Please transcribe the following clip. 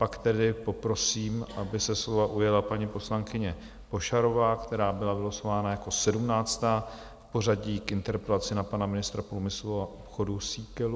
Pak tedy poprosím, aby se slova ujala paní poslankyně Pošarová, která byla vylosována jako sedmnáctá v pořadí k interpelaci na pana ministra průmyslu a obchodu Síkelu.